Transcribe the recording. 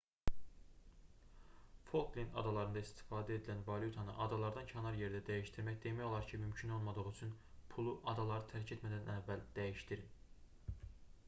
folklend adalarında istifadə edilən valyutanı adalardan kənar yerdə dəyişdirmək demək olar ki mümkün olmadığı üçün pulu adaları tərk etməzdən əvvəl dəyişdirin